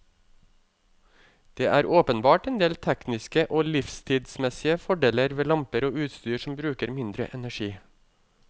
Det er åpenbart endel tekniske og livstidsmessige fordeler ved lamper og utstyr som bruker mindre energi.